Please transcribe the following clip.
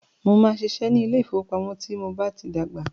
Mó máà ṣiṣẹ́ ní ilé ìfọwọ́pamo tí mo bá tí dàgbà.